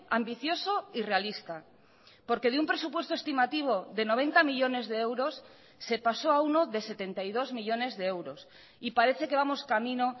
ambicioso y realista porque de un presupuesto estimativo de noventa millónes de euros se pasó a uno de setenta y dos millónes de euros y parece que vamos camino